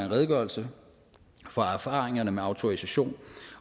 redegørelse for erfaringerne med autorisation